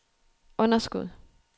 underskud